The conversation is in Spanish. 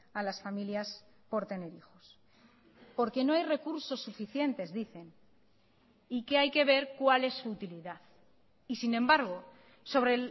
a las familias por tener hijos porque no hay recursos suficientes dicen y que hay que ver cuál es su utilidad y sin embargo sobre